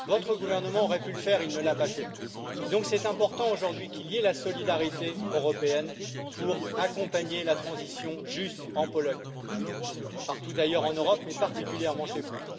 Votre gouvernement aurait pu le faire, il ne l'a pas fait, et donc c'est important aujourd'hui que nous ayons une solidarité européenne pour accompagner la transition juste, en Pologne et partout ailleurs en Europe, mais particulièrement chez vous.